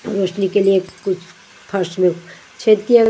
रोशनी के लिए कुछ फर्स्ट में छेद किया।